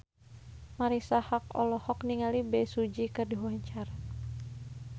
Marisa Haque olohok ningali Bae Su Ji keur diwawancara